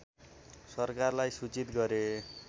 सरकारलाई सूचित गरे